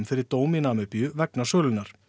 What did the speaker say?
fyrir dóm í Namibíu vegna sölunnar